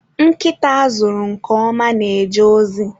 Nkịta a zụrụ nke ọma na-eje ozi